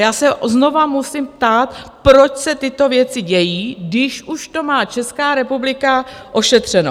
Já se znovu musím ptát, proč se tyto věci dějí, když už to má Česká republika ošetřeno?